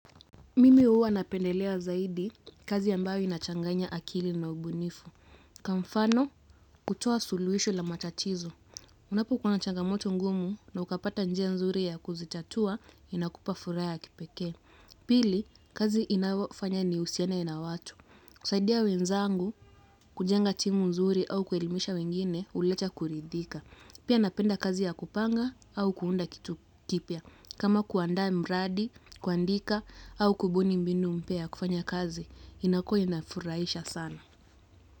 Mimi huwa napendelea zaidi kazi ambayo inachanganya akili na ubunifu kwa mfano, kutoa suluhisho la matatizo. Unapokuwa na changamoto ngumu na ukapata njia nzuri ya kuzitatua inakupa furaha ya kipekee. Pili, kazi inayofanya nihusiane na watu. Kusaidia wezangu kujenga timu nzuri au kuelimisha wengine huleta kuridhika pia napenda kazi ya kupanga au kuunda kitu kipya. Kama kuandaa mradi, kuandika au kubuni mbinu mpya ya kufanya kazi, inakuwa inafurahisha sana.